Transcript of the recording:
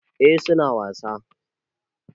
Eh su na wasa.